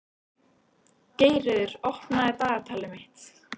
Geirröður, opnaðu dagatalið mitt.